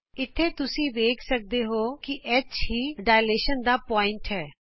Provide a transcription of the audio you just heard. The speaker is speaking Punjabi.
ਇਥੇ ਤੁਸੀਂ ਵੇਖ ਸਕਦੇ ਹੋ ਕਿ H ਵਿਸਤਾਰਣ ਬਿੰਦੂ ਹੇ